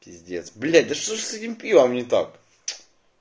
пиздец блять да что же с этим пивом не так